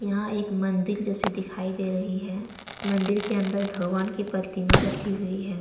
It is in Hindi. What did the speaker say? यहां एक मंदिर जैसे दिखाई दे रही है मंदिर में भगवान की प्रतिमा रखी हुई है।